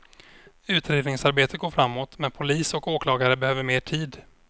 Utredningsarbetet går framåt, men polis och åklagare behöver mer tid.